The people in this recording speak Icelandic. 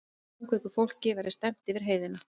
Langveiku fólki verði stefnt yfir heiðina